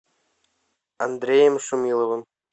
андреем шумиловым